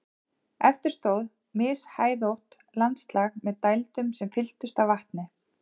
Eftir stóð mishæðótt landslag með dældum sem fylltust af vatni.